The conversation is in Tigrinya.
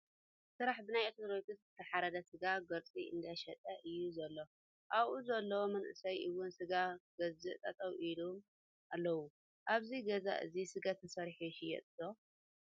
ስራሕ ፦ ብናይ ኦርቶዶኽስ ዝተሓረደ ስጋ ጎሪፁ እንዳሸጠ እዩ ዘሎ። ኣብኡ ዘለው መናእሰይ እውን ስጋ ኽገዝኡ ጠጠው ኢሎም ኣለው። አብዚ ገዛ እዙይ ስጋ ተሰሪሑ ይሽየጥ ዶ?